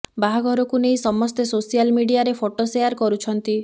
ବାହାଘରକୁ ନେଇ ସମସ୍ତେ ସୋସିଆଲ ମିଡ଼ିଆରେ ଫଟୋ ସେୟାର କରୁଛନ୍ତି